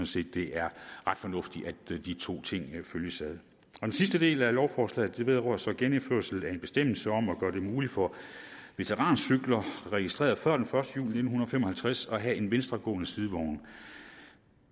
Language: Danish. set det er ret fornuftigt at de to ting følges ad den sidste del af lovforslaget vedrører så genindførsel af en bestemmelse om at gøre det muligt for veterancykler registreret før den første juli nitten fem og halvtreds at have en venstregående sidevogn